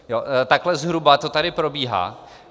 Takhle zhruba to tady probíhá.